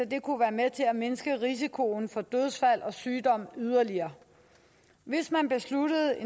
det kunne være med til at mindske risikoen for dødsfald og sygdom yderligere hvis man beslutter at